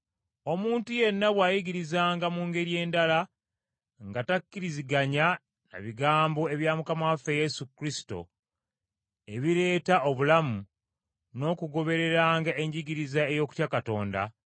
Omuntu yenna bw’ayigirizanga mu ngeri endala, nga takkiriziganya na bigambo ebya Mukama waffe Yesu Kristo ebireeta obulamu n’okugobereranga enjigiriza ey’okutya Katonda,